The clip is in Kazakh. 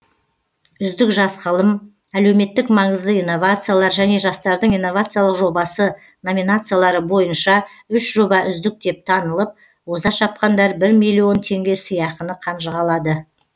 үздік жас ғылым әлеуметтік маңызды инновациялар және жастардың инновациялық жобасы номинациялары бойынша үш жоба үздік деп танылып оза шапқандар бір миллион теңге сыйақыны қанжығалады